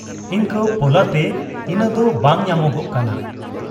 ᱤᱱᱠᱟᱹ ᱯᱚᱞᱟ ᱛᱮ ᱤᱱᱟᱫᱚ ᱵᱟᱝ ᱧᱟᱢᱚᱜᱟᱜ ᱠᱟᱱᱟ ᱾